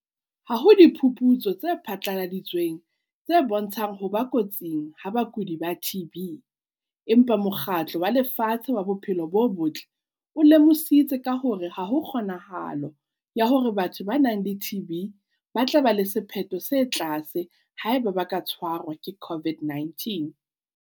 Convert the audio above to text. "Ha ho diphuputso tse phatlaladitsweng tse bontshang ho ba kotsing ha bakudi ba TB empa Mokgatlo wa Lefatshe wa Bophelo bo Botle o lemositse ka hore ha ho kgonahalo ya hore batho ba nang le TB ba tla ba le sephetho se tlase haeba ba ka tshwarwa ke COVID-19."